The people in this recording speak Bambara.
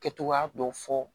Kɛ cogoya dɔ fɔ